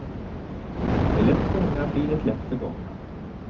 Det lätt fångna blir det lätt förgångna.